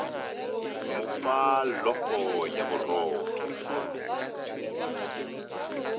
mo fa llofo ya borotho